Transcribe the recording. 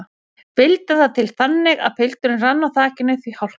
Vildi það til þannig að pilturinn rann á þakinu því hálka var.